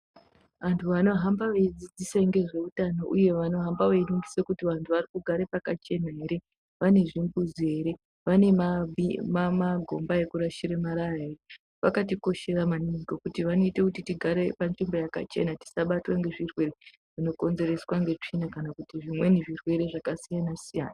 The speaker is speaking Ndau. Anthu anohamba veidzidzisa ngezveutano uye vanohamba veiningise kuti vanthu vari kugara pakachena ere vane zvimbuzi ere vane magomba ekurashire marara ere vakatikoshera maningi ngekuti vanoita kuti tigare panzvimbo yakachena tisabatwe ngezvirwere zvinokonzerwe ngetsvina kana kuti zvimweni zvirwere zvakasiyana siyana.